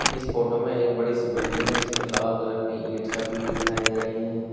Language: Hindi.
इस फोटो में एक बड़ी सी बिल्डिंग है जिस पर लाल कलर की ईट छपी हुई दिखाई दे रही हैं।